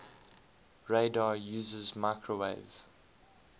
radar uses microwave